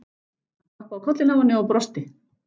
Hann klappaði á kollinn á henni og brosti.